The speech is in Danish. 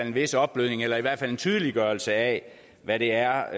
en vis opblødning eller i hvert fald en tydeliggørelse af hvad det er